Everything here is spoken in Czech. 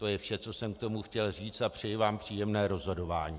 To je vše, co jsem k tomu chtěl říct, a přeji vám příjemné rozhodování.